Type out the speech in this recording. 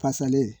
Fasalen